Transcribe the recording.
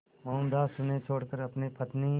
मोहनदास उन्हें छोड़कर अपनी पत्नी